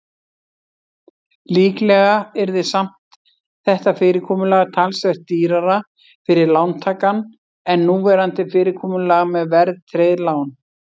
Líklega yrði samt þetta fyrirkomulag talsvert dýrara fyrir lántakann en núverandi fyrirkomulag með verðtryggð lán.